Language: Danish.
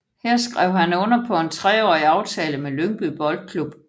Her skrev han under på en treårig aftale med Lyngby Boldklub